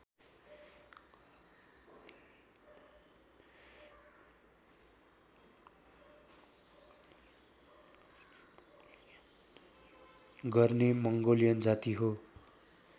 गर्ने मङ्गोलियन जाति हो